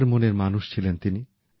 উদার মনের মানুষ ছিলেন তিনি